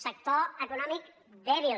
sector econòmic dèbil